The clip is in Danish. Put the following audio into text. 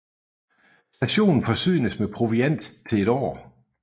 Stationen forsynes med proviant til et år